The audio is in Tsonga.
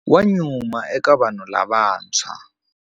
Wa nyuma eka vanhu lavantshwa.